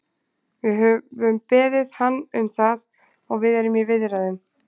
Við höfum beðið hann um það og við erum í viðræðum.